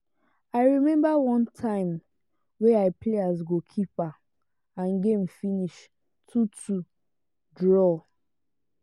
i remember one time wey i play as goal keeper and game finish 2:2 draw.